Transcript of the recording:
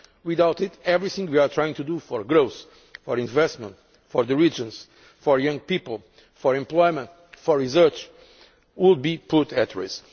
Without it, everything we are trying to do for growth, for investment, for the regions, for young people, for employment and for research would be put at risk.